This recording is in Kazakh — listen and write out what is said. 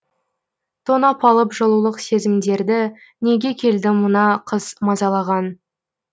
тонап алып жылулық сезімдерді неге келді мына қыс мазалаған